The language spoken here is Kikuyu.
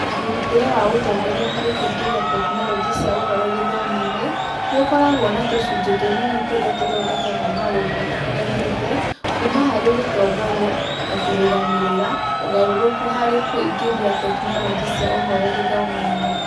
Mũrutĩre wa ũtongoria harĩ kũingĩria tekinoronjĩ cia ũhoro gĩthomo-inĩ nĩ ũkoragwo na tũcunjĩ tũnini tũrĩa tũthondekaga maũndũ matiganĩte kuuma harĩ gũtongoria na kũrũgamĩrĩra ũgarũrũku harĩ kũingĩria tekinoronjĩ cia ũhoro gĩthomo-inĩ.